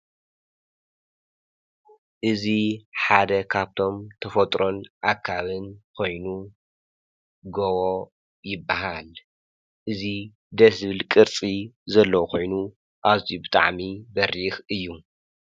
እዝ ሓደ ኻብቶም ተፈጥሮን ኣካብን ኾይኑ ጎወ ይበሃል እዙ ደስብል ቅርፂ ዘለዉ ኾይኑ ኣብጣዓሚ በሪኽ እዩ